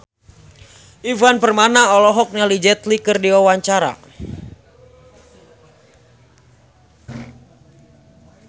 Ivan Permana olohok ningali Jet Li keur diwawancara